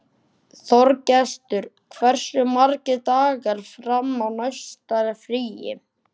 Þorgestur, hversu margir dagar fram að næsta fríi?